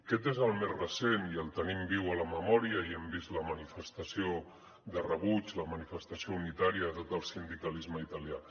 aquest és el més recent i el tenim viu a la memòria i hem vist la manifestació de rebuig la manifestació unitària de tot el sindicalisme italià